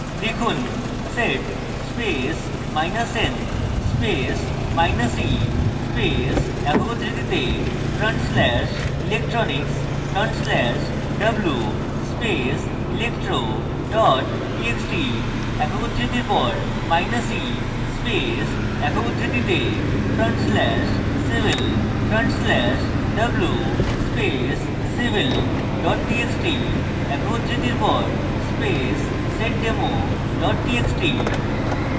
লিখুন sed space minus n space minus e space একক উদ্ধৃতিতে front slash electronics front slash w space electro txt txt একক উদ্ধৃতির পর মাইনাস e space একক উদ্ধৃতিতে front slash civil front slash w space civil txt txt একক উদ্ধৃতির পর space seddemo txt txt